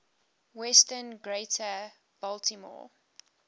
western greater baltimore